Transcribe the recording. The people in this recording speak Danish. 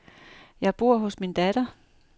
Jeg bor hos min datter.